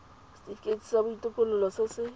setifikeiti sa botokololo se se